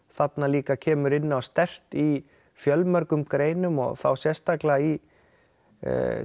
þarna líka kemur inn á sterkt í fjölmörgum greinum þá sérstaklega í